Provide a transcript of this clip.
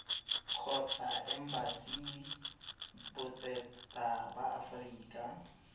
kgotsa embasi botseta ba aforika